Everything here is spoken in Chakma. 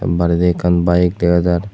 baredi ekkan baeg dega jar.